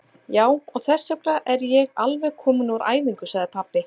Já, og þessvegna er ég alveg kominn úr æfingu, sagði pabbi.